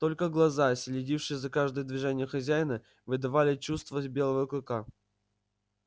только глаза следившие за каждым движение хозяина выдавали чувствовать белого клыка